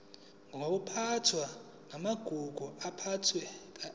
nokuphathwa kwamagugu aphathekayo